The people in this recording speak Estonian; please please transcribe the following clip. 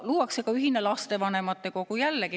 Luuakse ka ühine lastevanemate kogu.